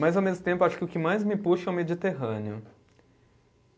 Mas, ao mesmo tempo, acho que o que mais me puxa é o Mediterrâneo.